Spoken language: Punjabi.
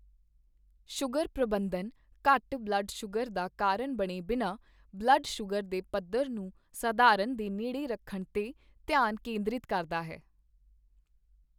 ਸ਼ੂਗਰ ਪ੍ਰਬੰਧਨ ਘੱਟ ਬਲੱਡ ਸ਼ੂਗਰ ਦਾ ਕਾਰਨ ਬਣੇ ਬਿਨਾਂ, ਬਲੱਡ ਸ਼ੂਗਰ ਦੇ ਪੱਧਰ ਨੂੰ ਸਧਾਰਨ ਦੇ ਨੇੜੇ ਰੱਖਣ 'ਤੇ ਧਿਆਨ ਕੇਂਦ੍ਰਿਤ ਕਰਦਾ ਹੈ।